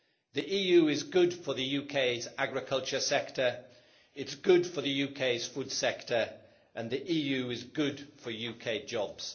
The EU is good for the UK's agriculture sector, it is good for the UK's food sector, and it is good for UK jobs.